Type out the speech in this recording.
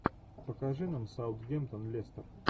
покажи нам саутгемптон лестер